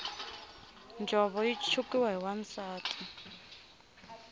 njhovo yi chukiwa hi wansati